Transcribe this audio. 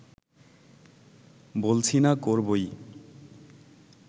বলছি না করবোই